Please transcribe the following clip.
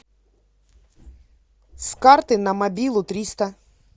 с карты на мобилу триста